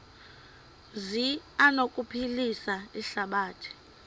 zi anokuphilisa ihlabathi